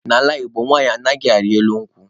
N'ala Igbo nwanyị anaghị arị elu nkwụ.